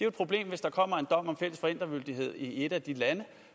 et problem hvis der kommer en dom om fælles forældremyndighed i et af de lande